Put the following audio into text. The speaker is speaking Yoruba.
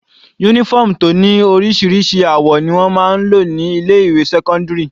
Uniform tó ní oríṣiríṣi àwọ̀ ni wọ́n máa ń lò ní ilé ìwé sẹ́cọ́ndírì.